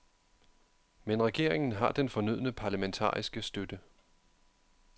Men regeringen har den fornødne parlamentariske støtte.